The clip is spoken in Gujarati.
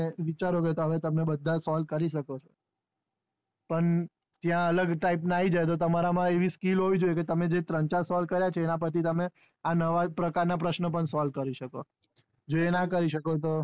વિચારો બતાવે તમે બધા solve કરી શકો છો પણ ત્યાં અલગ type ના આઈ જાય તો તમારા માં આવી skill હોવી જોઈએ તમે જે ત્રણ ચાર solve કર્યા છે એના પાર થી તમે આ નાવ પ્રકાર ના પ્રશ્ન પણ solve કરી શકો ચો જે ના કરી શકો તો